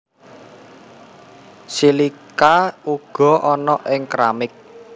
Silika uga ana ing keramik